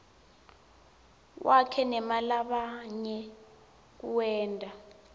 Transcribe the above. wakhe newalabanye kuwenta